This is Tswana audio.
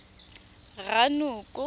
ranoko